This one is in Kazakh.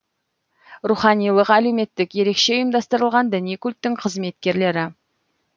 руханилық әлеуметтік ерекше ұйымдастырылған діни культтың қызметкерлері